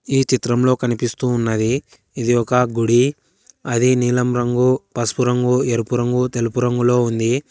ఈ చిత్రంలో కనిపిస్తూ ఉన్నది ఇది ఒక గుడి అది నీలం రంగు పసుపు రంగు ఎరుపు రంగు తెలుపు రంగులో ఉంది.